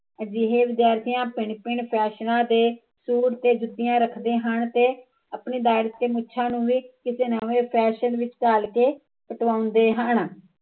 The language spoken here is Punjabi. ਅਜਿਹੇ ਵਿਦਿਆਰਥੀਆ ਭਿਣ ਭਿਣ ਫੈਸ਼ਨਾ ਦੇ ਸੂਟ ਤੇ ਜੁਤੀਆ ਰੱਖਦੇ ਹਨ ਤੇ ਆਪਣੇ ਤੇ ਮੁੱਛਾਂ ਨੂੰ ਵੀ ਕਿਸੇ ਫੈਸ਼ਨ ਵਿੱਚ ਢਾਲ ਕੇ ਕਟਾਉਂਦੇ ਹਨ